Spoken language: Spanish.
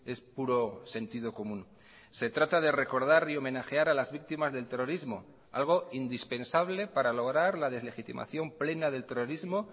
es puro sentido común se trata de recordar y homenajear a las víctimas del terrorismo algo indispensable para lograr la deslegitimación plena del terrorismo